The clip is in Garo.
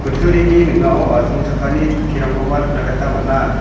ning·ao asongchakani chokkirangkoba nikna gita man·a.